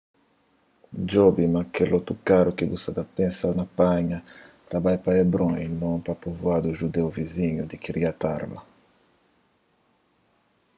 djobe ma kel otokaru ki bu sa ta pensa na panha ta bai pa hebron y non so pa povuadu judeu vizinhu di kiryat arba